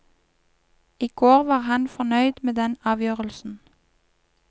I går var han fornøyd med den avgjørelsen.